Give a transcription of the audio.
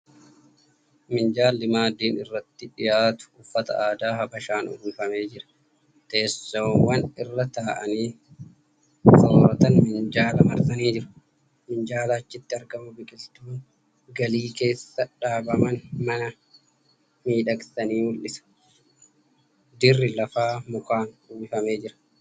Minjaalli maaddiin irratti dhiyaatu uffata aadaa habashaan uwwifamee jira . Teessoowwan irra taa'anii sooratan minjaala marsanii jiru . Minjaalaa achitti biqiltuun galii keessa dhaabaman mana miidhagsanii mul'isu . Dirri lafaa mukaan uwwifamee jira.